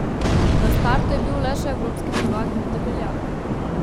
Na startu je bil le še evropski prvak Vid Debeljak.